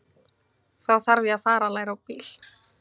Þá þarf ég að fara að læra á bíl.